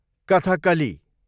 Kathakali